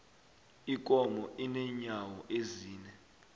ikomo inenyawo ezine